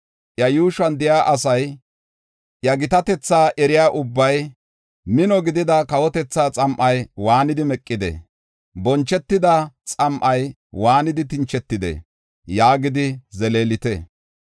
Iya yuushuwan de7iya asay, iya gitatetha eriya ubbay, “Mino gidida kawotethaa xam7ay waanidi meqidee?” Bonchetida xam7ay waanidi tinchetidee? yaagidi zeleelite.